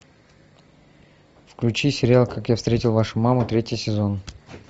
включи сериал как я встретил вашу маму третий сезон